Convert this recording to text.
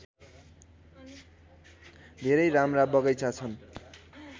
धेरै राम्रा बगैँचा छन्